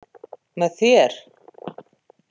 Með þér.